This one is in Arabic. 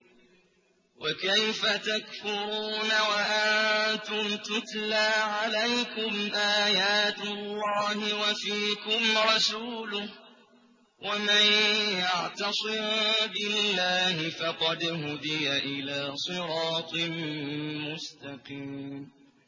وَكَيْفَ تَكْفُرُونَ وَأَنتُمْ تُتْلَىٰ عَلَيْكُمْ آيَاتُ اللَّهِ وَفِيكُمْ رَسُولُهُ ۗ وَمَن يَعْتَصِم بِاللَّهِ فَقَدْ هُدِيَ إِلَىٰ صِرَاطٍ مُّسْتَقِيمٍ